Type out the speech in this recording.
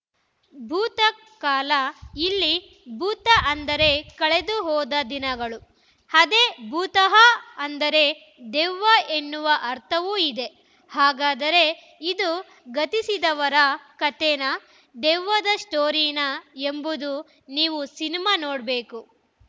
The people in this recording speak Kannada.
ಭೂತ ಕಾಲ ಇಲ್ಲಿ ಭೂತ ಅಂದರೆ ಕಳೆದು ಹೋದ ದಿನಗಳು ಅದೇ ಭೂತಃ ಅಂದರೆ ದೆವ್ವ ಎನ್ನುವ ಅರ್ಥವೂ ಇದೆ ಹಾಗಾದರೆ ಇದು ಗತಿಸಿದವರ ಕತೆನಾ ದೆವ್ವದ ಸ್ಟೋರಿನಾ ಎಂಬುದು ನೀವು ಸಿನಿಮಾ ನೋಡಬೇಕು